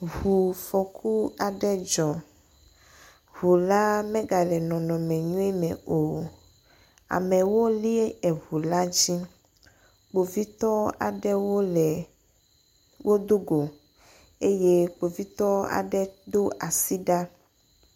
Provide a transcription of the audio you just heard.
Ŋufɔku aɖe dzɔ. Ŋu la me gale nɔnɔme nyuie me o. Amewo li eŋu la dzi. Kpovitɔ aɖe wo le, wò do go eye kpovitɔ aɖe do asi ɖa.